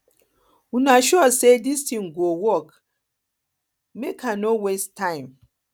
una sure say dis thing go work make work make i no waste time